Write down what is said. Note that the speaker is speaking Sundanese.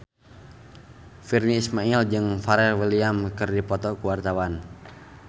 Virnie Ismail jeung Pharrell Williams keur dipoto ku wartawan